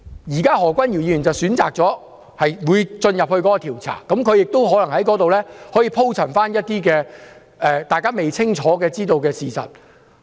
現時何君堯議員選擇接受調查，他亦可能在調查時鋪陳一些大家未清楚知道的事實。